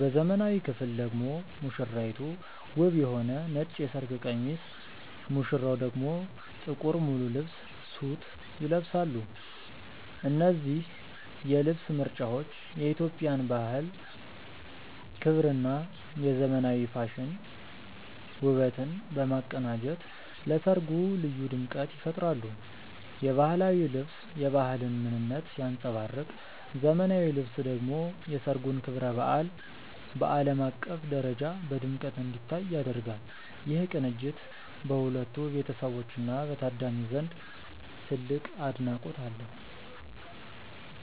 በዘመናዊው ክፍል ደግሞ ሙሽራይቱ ውብ የሆነ ነጭ የሰርግ ቀሚስ ሙሽራው ደግሞ ጥቁር ሙሉ ልብስ (ሱት) ይለብሳሉ። እነዚህ የልብስ ምርጫዎች የኢትዮጵያን ባህል ክብርና የዘመናዊ ፋሽን ውበትን በማቀናጀት ለሠርጉ ልዩ ድምቀት ይፈጥራሉ። የባህላዊው ልብስ የባህልን ምንነት ሲያንጸባርቅ ዘመናዊው ልብስ ደግሞ የሠርጉን ክብረ በዓል በዓለም አቀፍ ደረጃ በድምቀት እንዲታይ ያደርጋል። ይህ ቅንጅት በሁለቱ ቤተሰቦችና በታዳሚው ዘንድ ትልቅ አድናቆት አለው።